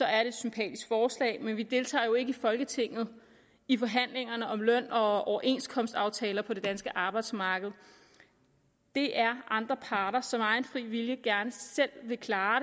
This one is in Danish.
er et sympatisk forslag men vi deltager jo ikke i folketinget i forhandlingerne om løn og overenskomstaftaler på det danske arbejdsmarked det er andre parter som af egen fri vilje gerne selv vil klare